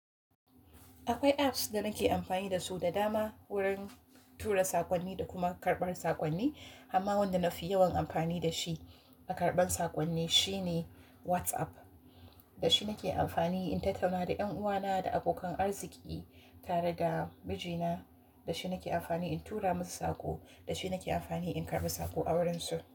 Akwai apps da nake amfani da su da dama wurin tura sakonni da kuma karɓar sakonni. Amma wanda na fi yawan amfani da shi a karɓar sakonni shine WhatsApp. Da shi nake amfani in tattauna da ƴan uwana da abokan arziki tare da mijina. Da shi nake amfani in tura musu saƙo. Da shi nake amfani in karɓi saƙo a wurinsu.